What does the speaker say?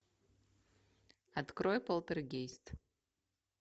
открой полтергейст